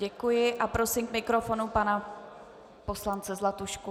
Děkuji a prosím k mikrofonu pana poslance Zlatušku.